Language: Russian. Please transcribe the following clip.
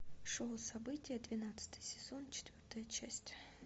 шоу событие двенадцатый сезон четвертая часть